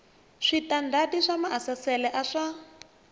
switandati swa maasesele a swa